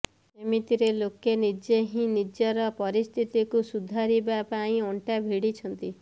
ଏମିତିରେ ଲୋକେ ନିଜେ ହିଁ ନିଜର ପରିସ୍ଥିତିକୁ ସୁଧାରିବା ପାଇଁ ଅଣ୍ଟା ଭିଡିଛନ୍ତି